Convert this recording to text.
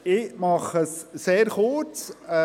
Ich mache es sehr kurz.